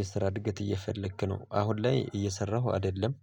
የስራ እድገት እየፈለክ ነው አሁን ላይ እየሰራሁ አይደለም